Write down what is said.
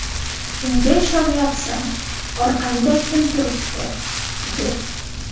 Kimga ishonyapsan, orqangda kim turibdi?’ deb.